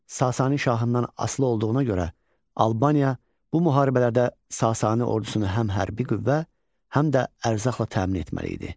Sasani şahından asılı olduğuna görə Albaniya bu müharibələrdə Sasani ordusunu həm hərbi qüvvə, həm də ərzaqla təmin etməli idi.